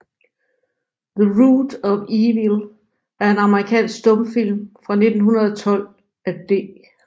The Root of Evil er en amerikansk stumfilm fra 1912 af D